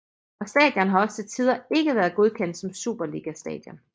Og stadion har også til tider ikke været godkendt som Superliga stadion